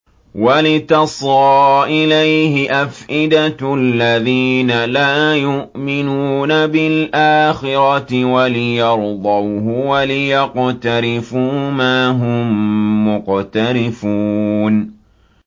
وَلِتَصْغَىٰ إِلَيْهِ أَفْئِدَةُ الَّذِينَ لَا يُؤْمِنُونَ بِالْآخِرَةِ وَلِيَرْضَوْهُ وَلِيَقْتَرِفُوا مَا هُم مُّقْتَرِفُونَ